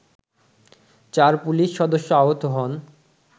চার পুলিশ সদস্য আহত হন